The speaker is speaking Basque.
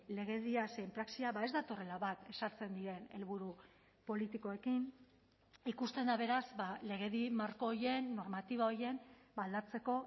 legedia zein praxia ez datorrela bat ezartzen diren helburu politikoekin ikusten da beraz legedi marko horien normatiba horien aldatzeko